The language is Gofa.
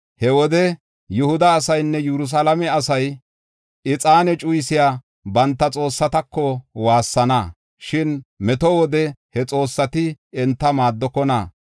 He wode Yihuda asaynne Yerusalaame asay, ixaane cuyisiya banta xoossatako waassana. Shin meto wode he xoossati enta maaddokona.